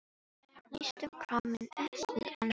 Næstum kraminn upp við andlit hennar.